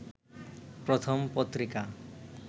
প্রথম পত্রিকা